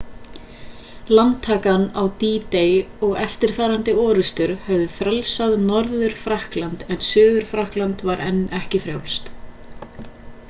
landtakan á d-day og eftirfarandi orrustur höfðu frelsað norður-frakkland en suður-frakkland var enn ekki frjálst